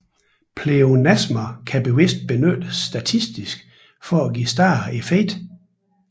Pleonasmer kan bevidst benyttes stilistisk for at give større effekt